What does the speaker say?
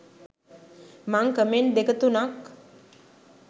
මං කමෙන්ට් දෙක තුනක්